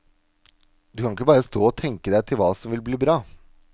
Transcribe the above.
Du kan ikke bare stå og tenke deg til hva som vil bli bra.